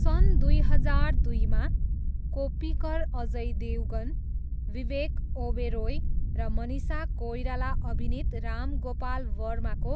सन् दुई हजार दुईमा कोप्पिकर अजय देवगन, विवेक ओबेरोय र मनिषा कोइराला अभिनीत राम गोपाल वर्माको